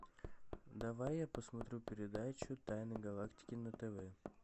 давай я посмотрю передачу тайны галактики на тв